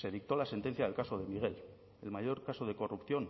se dictó la sentencia del caso de miguel el mayor caso de corrupción